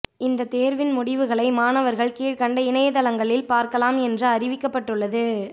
இந்த தேர்வின் முடிவுகளை மாணவர்கள் கீழ்க்கண்ட இணையதளங்களில் பார்க்கலாம் என்று அறிவிக்கப்பட்டுள்ளது